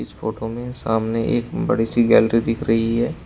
इस फोटो में सामने एक बड़ी सी गैलरी दिख रही है।